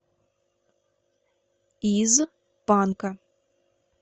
из панка